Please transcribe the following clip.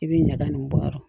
I bɛ ɲaga nin bɔ yɔrɔ min